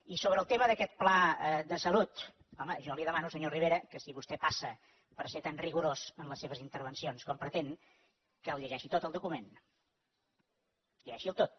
i sobre el tema d’aquest pla de salut home jo li demano senyor rivera que si vostè passa per ser tan rigorós en les seves intervencions com pretén que el llegeixi tot el document llegeixi’l tot